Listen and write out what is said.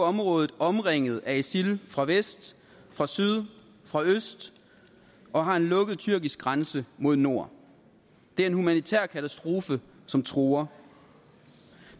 området omringet af isil fra vest fra syd og fra øst og har en lukket tyrkisk grænse mod nord det er en humanitær katastrofe som truer